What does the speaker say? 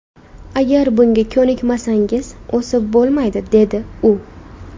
Agar bunga ko‘nikmasangiz, o‘sib bo‘lmaydi”, dedi u.